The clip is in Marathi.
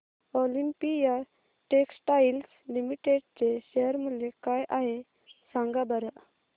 ऑलिम्पिया टेक्सटाइल्स लिमिटेड चे शेअर मूल्य काय आहे सांगा बरं